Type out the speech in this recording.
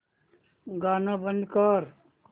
गाणं बंद कर